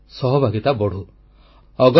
ଲୋକମାନଙ୍କର ସହଭାଗିତା ବଢ଼ୁ